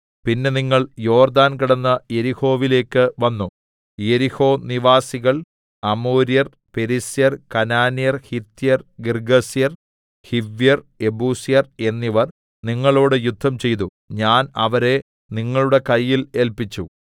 പിന്നെ നിങ്ങൾ യോർദ്ദാൻ കടന്ന് യെരിഹോവിലേക്ക് വന്നു യെരിഹോനിവാസികൾ അമോര്യർ പെരിസ്യർ കനാന്യർ ഹിത്യർ ഗിർഗ്ഗസ്യർ ഹിവ്യർ യെബൂസ്യർ എന്നിവർ നിങ്ങളോട് യുദ്ധംചെയ്തു ഞാൻ അവരെ നിങ്ങളുടെ കയ്യിൽ ഏല്പിച്ചു